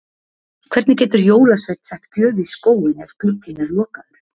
Hvernig getur jólasveinn sett gjöf í skóinn ef glugginn er lokaður?